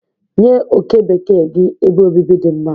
Nye oke bekee gị ebe obibi dị mma.